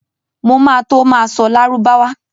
Mo ma tó ma ṣọ́ Lárúbáwá